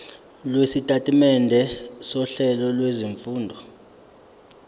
lwesitatimende sohlelo lwezifundo